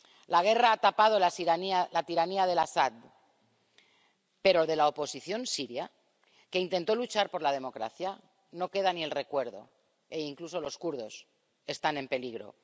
La guerra ha tapado la tiranía de Al Asad, pero de la oposición siria, que intentó luchar por la democracia, no queda ni el recuerdo. E incluso los kurdos están en peligro.